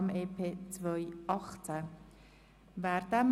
Hier geht es um den AFP 2019–2021, der zurückgewiesen werden soll.